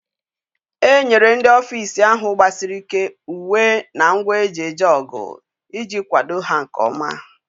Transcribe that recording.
A enyere ndị ọfisa ahụ gbasiri ị́ké uwe na ngwa eji eje ọgụ iji kwado ha nkeọma.